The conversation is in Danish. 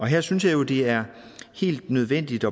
her synes jeg jo det er helt nødvendigt